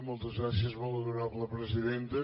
moltes gràcies molt honorable presidenta